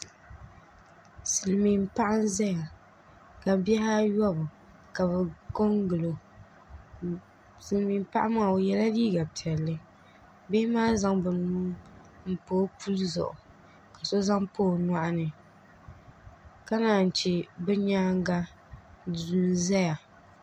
Silmiin paɣa n ʒɛya ka bihi ayobu ka bi ko n gilo silmiin paɣa maa o yɛla liiga piɛlli bihi maa zaŋ bi nuu n pa o puli zuɣu ka so zaŋ pa o nyoɣani ka naan chɛ bi nyaanga duu ʒɛya